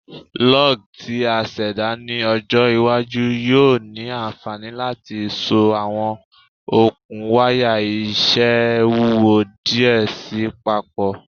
Lugs ti a ṣẹda ni ọjọ iwaju yoo ni anfani lati so awọn okun waya iṣẹ wuwo diẹ sii papọ